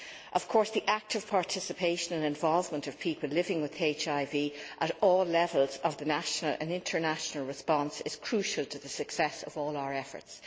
Of course, the active participation and involvement of people living with HIV at all levels of the national and international response is crucial to the success of all our efforts.